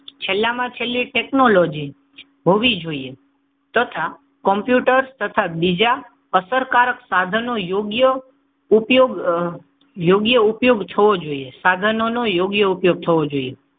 છેલ્લામાં છેલ્લી ટેકનોલોજી હોવી જોઈએ. તથા કોમ્પ્યુટર તથા બીજા અસરકારક સાધનો યોગ્ય ઉપયોગ યોગ્ય ઉપયોગ સાધનોનો યોગ્ય ઉપયોગ થવો જોઈએ.